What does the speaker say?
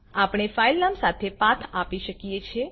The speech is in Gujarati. આપણે ફાઈલ નામ સાથે પાથ આપી શકીએ છે